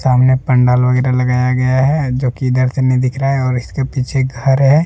सामने पंडाल वगैरहा लगाया गया है जो की इधर से नहीं दिख रहा है और इसके पीछे घर है।